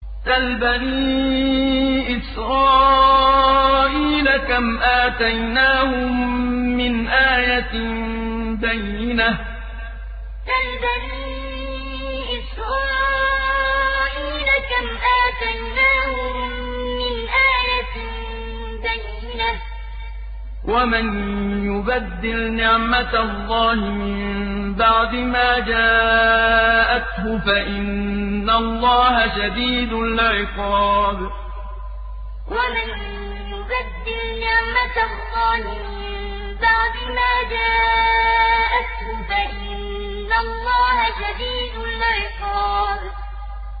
سَلْ بَنِي إِسْرَائِيلَ كَمْ آتَيْنَاهُم مِّنْ آيَةٍ بَيِّنَةٍ ۗ وَمَن يُبَدِّلْ نِعْمَةَ اللَّهِ مِن بَعْدِ مَا جَاءَتْهُ فَإِنَّ اللَّهَ شَدِيدُ الْعِقَابِ سَلْ بَنِي إِسْرَائِيلَ كَمْ آتَيْنَاهُم مِّنْ آيَةٍ بَيِّنَةٍ ۗ وَمَن يُبَدِّلْ نِعْمَةَ اللَّهِ مِن بَعْدِ مَا جَاءَتْهُ فَإِنَّ اللَّهَ شَدِيدُ الْعِقَابِ